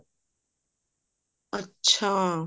ਅੱਛਾ